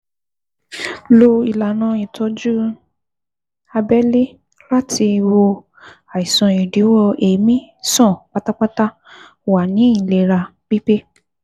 Lo ìlànà ìtọ́jú abẹ́lé láti wo àìsàn ìdíwọ́ èémí sàn pátápátá, Wà ní ìlera pípé